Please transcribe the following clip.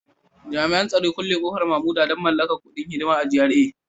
Jami'an tsaro Kulle kofar Mamuda don mallakar kudin hidima a GRA